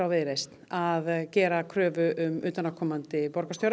Viðreisn að gera kröfu um utanaðkomandi borgarstjóra